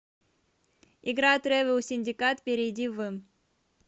игра тревел синдикат перейди в